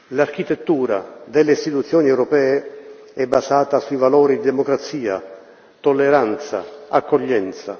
L'architettura delle istituzioni europee è basata sui valori di democrazia, tolleranza, accoglienza.